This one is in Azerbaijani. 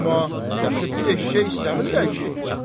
Amma təxir bir eşşək istəmirlər ki.